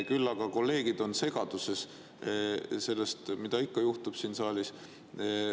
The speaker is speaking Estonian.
Küll aga kolleegid on segaduses, mida ikka juhtub siin saalis.